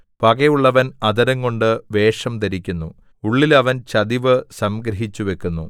പകയുള്ളവൻ അധരം കൊണ്ട് വേഷം ധരിക്കുന്നു ഉള്ളിൽ അവൻ ചതിവ് സംഗ്രഹിച്ചു വയ്ക്കുന്നു